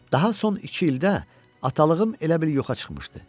Daha son iki ildə atalığım elə bil yoxa çıxmışdı.